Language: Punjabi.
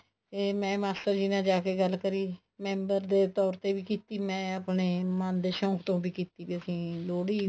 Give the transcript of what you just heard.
ਤੇ ਮੈਂ ਮਾਸਟਰ ਜੀ ਨਾਲ ਜਾ ਕੇ ਗੱਲ ਕਰੀ member ਦੇ ਤੋਰ ਤੇ ਵੀ ਕੀਤੀ ਮੈਂ ਆਪਣੇ ਮਨ ਦੇ ਸ਼ਨ ਤੋਂ ਵੀ ਕੀਤੀ ਵੀ ਅਸੀਂ ਲੋਹੜੀ